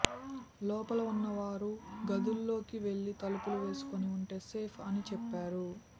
లోపల ఉన్నవారు గదుల్లోకి వెళ్లి తలుపులు వేసుకుని ఉంటే సేఫ్ అని చెప్పారు